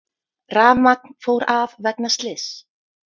Rafmagn fór af vegna slyss